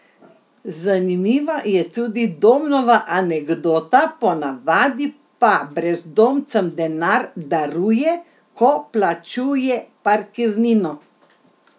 Zanimiva je tudi Domnova anekdota, po navadi pa brezdomcem denar daruje, ko plačuje parkirnino.